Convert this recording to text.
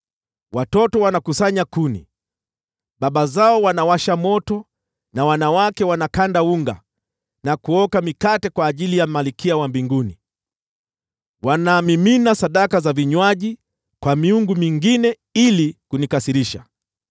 Watoto wanakusanya kuni, baba zao wanawasha moto, na wanawake wanakanda unga na kuoka mikate kwa ajili ya Malkia wa Mbinguni. Wanamimina sadaka za vinywaji kwa miungu mingine ili kunikasirisha.